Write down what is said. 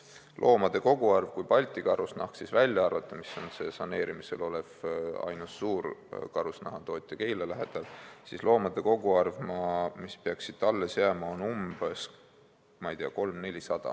Loomade koguarv, mis peaks alles jääma, kui välja arvata Balti Karusnahk, mis on saneerimisel olev ainus suur karusnahatootja Keila lähedal, on umbes 300–400.